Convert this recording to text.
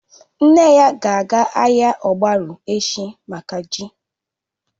Nne ya ga-aga ahịa ogbaru echi mákà ji